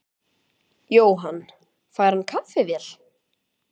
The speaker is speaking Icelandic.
Jóhann: Fær hann kaffivél?